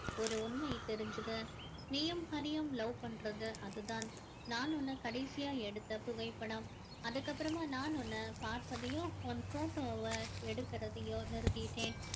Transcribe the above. ஒரு உண்மை தெரிஞ்சுது நீயும் ஹரியும் love பண்றது அது தான் நான் உன்ன கடைசியா எடுத்த புகைப்படம் அதுக்கு அப்பறமா நான் உன்னை பார்ப்பதையோ உன் photo வை எடுக்கறதையோ நிறுத்திட்டேன்